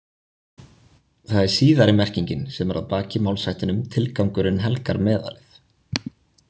Það er síðari merkingin sem er að baki málshættinum tilgangurinn helgar meðalið.